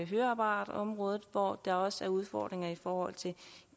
høreapparatområdet hvor der også er udfordringer i forhold til